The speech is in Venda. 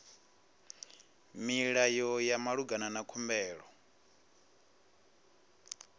milayo ya malugana na khumbelo